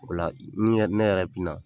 O la ne yɛrɛ bi na